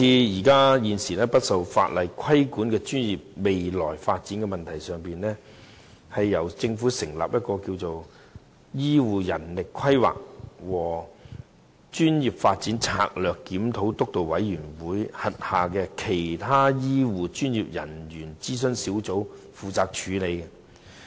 現時不受法定規管的專業的未來發展問題，由政府成立名為醫療人力規劃和專業發展策略檢討督導委員會轄下的其他醫療專業小組負責處理。